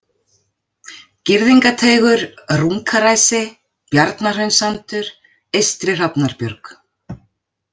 Girðingateigur, Runkaræsi, Bjarnahraunssandur, Eystri-Hrafnarbjörg